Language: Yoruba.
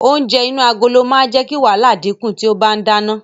Oúnjẹ inú agolo máa jẹ́ kí wàhálà dínkù tí o bá ń dáná.